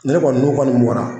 Ni ne kɔni n'u kɔni bɔra